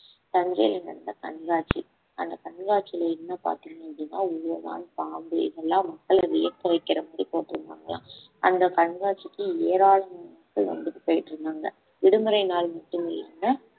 தஞ்சையில் நடந்த கண்காட்சி அந்த கண்காட்சியில என்ன பார்த்தீங்க அப்பிடின்னா ஓணான் பாம்பு இதெல்லாம் மக்கள வியக்க வைக்கிற மாதிரி போட்டு இருந்தாங்களாம் அந்த கண்காட்சிக்கு ஏராளமான மக்கள் வந்துட்டு போயிட்டு இருந்தாங்க விடுமுறை நாள் மட்டும் இல்லாம